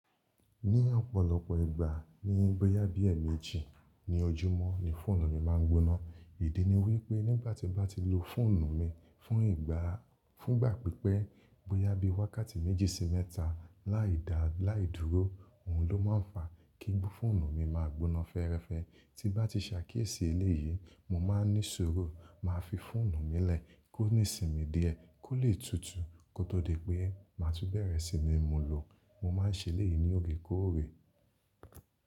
Ní ọ̀pọ̀lọpọ̀ ìgbà ní bóyá bí èmejí ní ojúmọ́ ni fóònù mi máa ń gbóná. Ìdí ni wípé nígbàtí n bá ti lo fóònù mi fún ìgbà pípẹ́ bóyá bí wákàtí méjì sí mẹ́ta láìda láìdúró ohun ló máa ń fa kí fóònù mi máa gbóná fẹ́ẹ́rẹ́fẹ́. Tí bá ti ṣàkíyèsí eléyìí mo máa ní sùúrù máa fi fóònù mi lẹ̀ kó ní ìsinmi díẹ̀ kó lè tutù kó tó di pé máa tú berẹ̀ si ni mu lò. Mo máa ń ṣe eléyìí ní òre kórè.